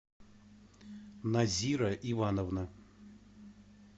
назира ивановна